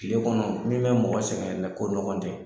Tile kɔnɔ min bɛ mɔgɔ sɛgɛn yɛrɛ ko nɔgɔn tɛ.